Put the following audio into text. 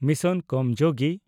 mission Karmayogi